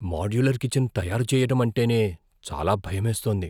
Modular kitchen తయారు చేయటం అంటేనే చాలా భయమేస్తోంది.